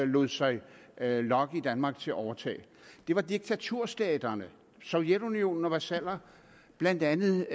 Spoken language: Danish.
lod sig lokke i danmark til at overtage det var diktaturstaterne sovjetunionen og vasaller blandt andet